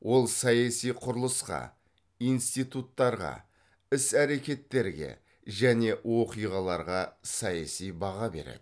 ол саяси құрылысқа институттарға іс әрекеттерге және оқиғаларға саяси баға береді